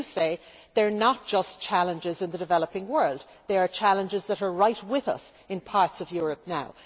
As you say, they are not just challenges in the developing world they are challenges that are right with us in parts of Europe now.